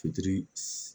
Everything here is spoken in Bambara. Fitiri s